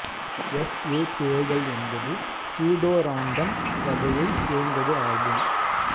S A பிழைகள் என்பது pseudorandom வகையை சேர்ந்தது ஆகும்